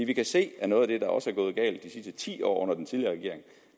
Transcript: vi kan se at noget af det der også er gået galt de sidste ti år under den tidligere regering